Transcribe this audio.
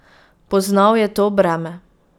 Poznal je to breme.